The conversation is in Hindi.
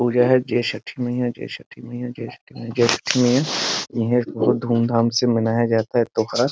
पूजा है जय छठी मईया जय छठी मईया जय छठी मईया जय छठी मईया ये है बहुत धुमधाम से मनाया जाता है त्यौहार।